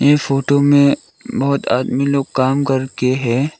ये फोटो मे बहोत आदमी लोग काम करके है।